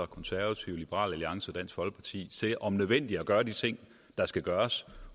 konservative liberal alliance og folkeparti til om nødvendigt at gøre de ting der skal gøres